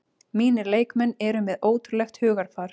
Mínir leikmenn eru með ótrúlegt hugarfar